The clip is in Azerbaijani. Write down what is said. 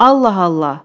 Allah Allah!